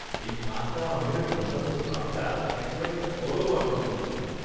এই পাকা আমের রসালো ভাবটা একেবারে পরম আনন্দ দেয়।